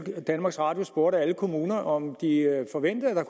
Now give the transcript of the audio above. at danmarks radio spurgte alle kommuner om de forventede at der